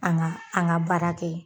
An ŋa an ŋa baara kɛ